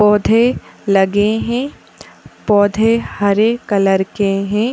पौधे लगे हैं। पौधे हरे कलर के हैं।